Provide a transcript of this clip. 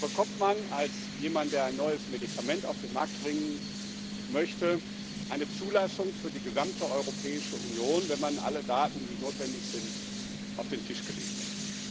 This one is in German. Und da bekommt man als jemand, der ein neues Medikament auf den Markt bringen möchte, eine Zulassung für die gesamte Europäische Union, wenn man alle Daten, die notwendig sind, auf den Tisch gelegt hat.